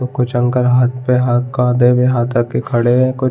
वो कुछ अंकल हाथ पे हाथ कांधे पे हाथ रख कर खड़े है कुछ --